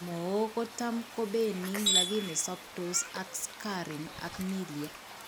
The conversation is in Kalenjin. Mook kotam ko benign lakini sobtoos ak scarring ak milia